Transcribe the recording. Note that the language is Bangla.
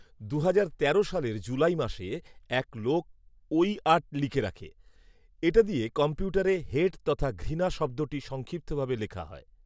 দুহাজার তেরো সালের জুলাই মাসে এক লোক “ঐ আট” লিখে রাখে। এটা দিয়ে কম্পিউটারে হেট তথা ঘৃণা শব্দটি সংক্ষিপ্তভাবে লেখা হয়